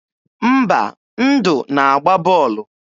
Mba, Ndụ na-agba bọọlụ.